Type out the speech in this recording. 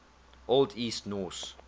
old east norse